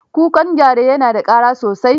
Kukan gyare na da ƙara sosai.